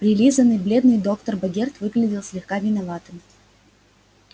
прилизанный бледный доктор богерт выглядел слегка виноватым